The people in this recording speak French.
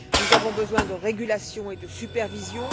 Nous avons besoin de régulation et de supervision.